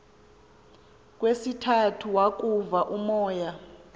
kwesithathu wavuka umoya